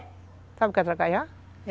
Sabe o que é tracajá?